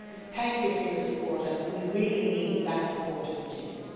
Thank you for your support and we really need that support to continue.